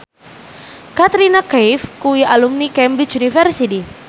Katrina Kaif kuwi alumni Cambridge University